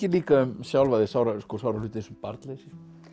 líka um sjálfa þig sára sára hluti eins og barnleysi